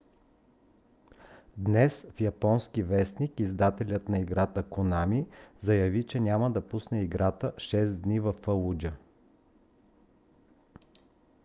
днес в японски вестник издателят на играта конами заяви че няма да пусне играта шест дни във фалуджа